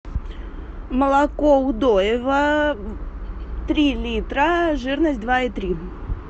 молоко удоево три литра жирность два и три